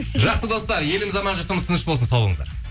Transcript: жақсы достар еліміз аман жұртымыз тыныш болсын сау болыңыздар